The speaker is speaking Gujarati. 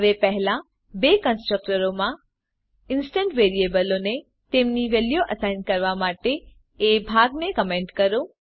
હવે પહેલા બે કન્સ્ટ્રકટરો માં ઇન્સ્ટંસ વેરીએબલો ને તેમની વેલ્યુઓ અસાઇન કરવા માટે એ ભાગને કમેંટ કરો